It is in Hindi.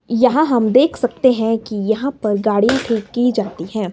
यहां हम देख सकते हैं कि यहां पर गाड़ीयां ठीक की जाती हैं।